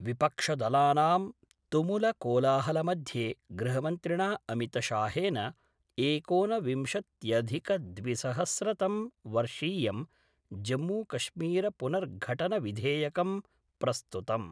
विपक्ष दलानां तुमुल कोलाहलमध्ये गृहमन्त्रिणा अमितशाहेन एकोनविंशत्यधिकद्विसहस्रतम् वर्षीयं जम्मूकश्मीरपुनर्घटनविधेयकं प्रस्तुतम्।